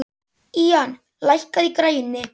Ían, lækkaðu í græjunum.